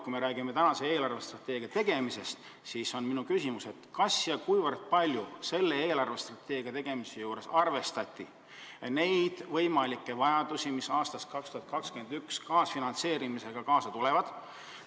Kui me räägime meie eelarvestrateegia tegemisest, siis on minu küsimus, kui palju selle koostamisel arvestati võimalikke vajadusi, mis aastast 2021 kaasfinantseerimisega tekivad.